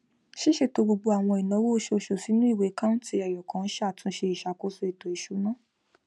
ṣíṣètò gbogbo àwọn ináwó oṣooṣù sínú iwe káùǹtì ẹyọkan ń ṣàtúnṣe iṣàkóso eto ìṣúná